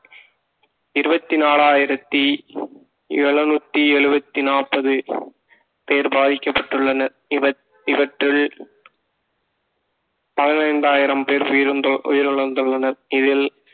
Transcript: இருபத்தி நாலாயிரத்தி எழுநூத்தி எழுபத்தி நாற்பது பேர் பாதிக்கப்பட்டுள்ளனர் இவ~ இவற்றில் பதினைந்தாயிரம் பேர் உயிர்ழந்து~ உயிரிழந்துள்ளனர் இதில்